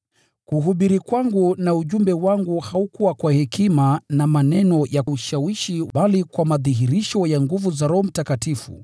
Kuhubiri kwangu na ujumbe wangu haukuwa kwa hekima na maneno ya ushawishi bali kwa madhihirisho ya nguvu za Roho